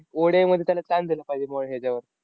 ODI मध्ये त्याला chance दिला पाहिजे बुवा ह्याच्यावर.